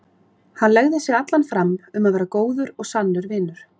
Hann legði sig allan fram um að verða góður og sannur vinur.